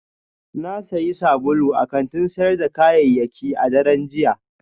Na sayi sabulu a kantin sayar da kayayyaki a daren jiya